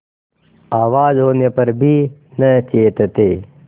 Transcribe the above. आवाज होने पर भी न चेतते